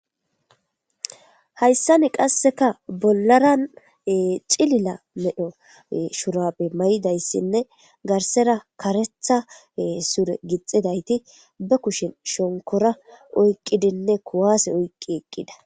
Hayssani qasseka bollaran cilila medho shurabe may'idayssinne garsera karetha sure gixidayti ba kushen shonkora oyqqidinne kuwaase oyqqi eqqida.